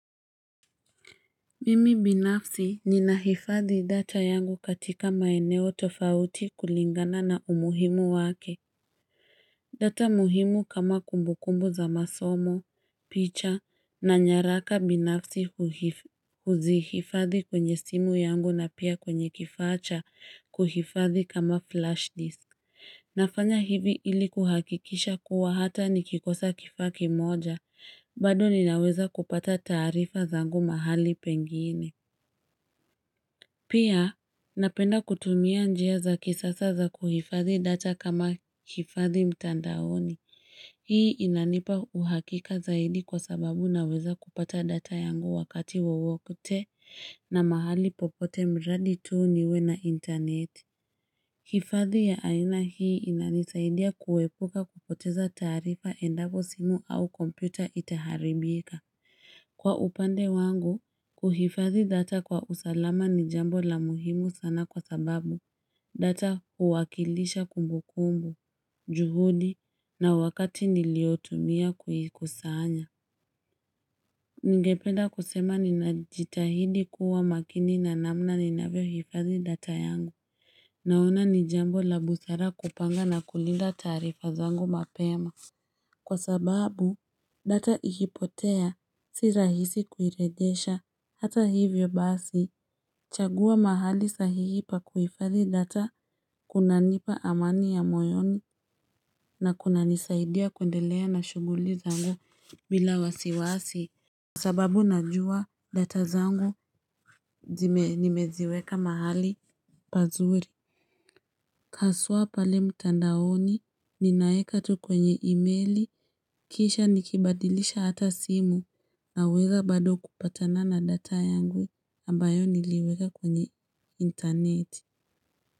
Mimi binafsi ninahifadhi data yangu katika maeneo tofauti kulingana na umuhimu wake. Data muhimu kama kumbukumbu za masomo, picha na nyaraka binafsi huzihifadhi kwenye simu yangu na pia kwenye kifaa cha kuhifadhi kama flash disk. Nafanya hivi ili kuhakikisha kuwa hata ni kikosa kifaa kimoja, bado ni naweza kupata tarifa zangu mahali pengine. Pia, napenda kutumia njia za kisasa za kuhifadhi data kama hifadhi mtandaoni. Hii inanipa uhakika zaidi kwa sababu na weza kupata data yangu wakati wowote na mahali popote mradi tu niwe na internet. Hifadhi ya aina hii inanisaidia kuepuka kupoteza taarifa endako simu au kompyuta itaharibika. Kwa upande wangu, kuhifadhi data kwa usalama ni jambo la muhimu sana kwa sababu data huwakilisha kumbukumbu, juhudi na wakati niliotumia kuikusanya. Ningependa kusema ninajitahidi kuwa makini na namna ninavyo hifadhi data yangu. Naona ni jambo la busara kupanga na kulinda taarifa zangu mapema. Kwa sababu data ikipotea si rahisi kuirejesha hata hivyo basi chagua mahali sahihi pa kuifadhi data kuna nipa amani ya moyoni na kuna nisaidia kuendelea na shughuli zangu bila wasiwasi Kwa sababu najua data zangu nimeziweka mahali pazuri Haswa pale mtandaoni, ninaeka tu kwenye emaili, kisha nikibadilisha hata simu, naweza bado kupatana na data yangu, ambayo niliweka kwenye interneti.